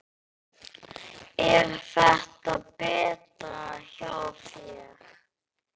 Er þetta betra hjá þér?